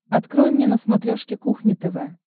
открой мне на смотрешке кухня тв